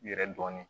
Yɛrɛ dɔɔnin